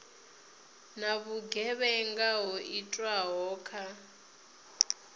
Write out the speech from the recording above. na vhugevhenga ho itwaho kha